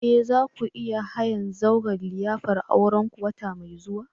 Eh! za ku iya hayan zauren liyafar aurenku wata mai zuwa.